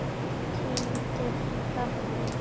Tíundi kafli